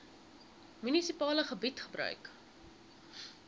munisipale gebied gebruik